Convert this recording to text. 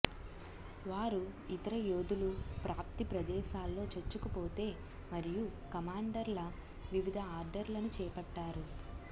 వారు ఇతర యోధులు ప్రాప్తి ప్రదేశాల్లో చొచ్చుకుపోతే మరియు కమాండర్ల వివిధ ఆర్డర్లను చేపట్టారు